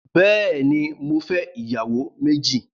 Bẹẹni, mò fẹ̀ iyàwó mẹji